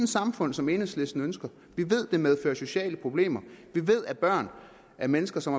samfund som enhedslisten ønsker vi ved at det medfører sociale problemer vi ved at børn af mennesker som